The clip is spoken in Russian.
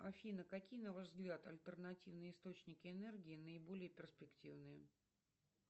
афина какие на ваш взгляд альтернативные источники энергии наиболее перспективные